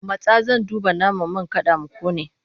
Matsa! Zan duba naman man kada ya ƙone!